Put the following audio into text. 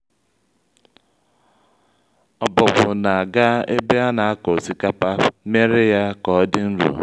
ọbọgwụ na-aga ébé anakọ osikapa mere ya ka ọdị nro